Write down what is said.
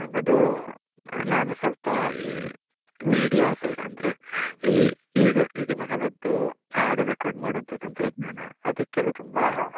ನನ್ನದು, ಆ ನಾನು ಸ್ವಲ್ಪ media side ಅಂದ್ರೆ, ಈಗಿನ ಕಾಲದ್ದು ಹಾಡು record ಮಾಡುವ ತಂತ್ರಜ್ಞಾನ ಅದಕ್ಕೆಲ್ಲ .